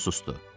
Kişi sustu.